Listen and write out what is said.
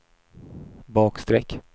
bakstreck